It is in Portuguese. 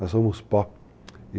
Nós somos pó.